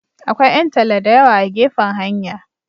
Akwai 'yan talla da yawa a gefen hanya.